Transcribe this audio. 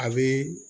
A bɛ